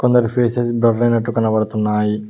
కొందరి faces blur అయినట్టు కనబడుతున్నాయి.